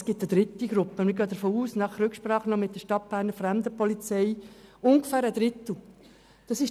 Es gibt noch eine dritte Gruppe, und wir gehen nach Rücksprache mit der Stadtberner Fremdenpolizei davon aus, dass diese ungefähr einen Drittel ausmacht.